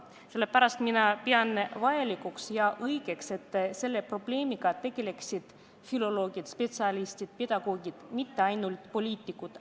Sellepärast mina pean vajalikuks ja õigeks, et selle probleemiga tegeleksid ka filoloogid, spetsialistid ja pedagoogid, mitte ainult poliitikud.